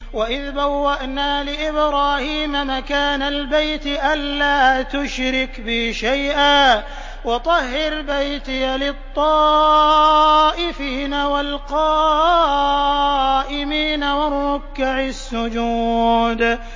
وَإِذْ بَوَّأْنَا لِإِبْرَاهِيمَ مَكَانَ الْبَيْتِ أَن لَّا تُشْرِكْ بِي شَيْئًا وَطَهِّرْ بَيْتِيَ لِلطَّائِفِينَ وَالْقَائِمِينَ وَالرُّكَّعِ السُّجُودِ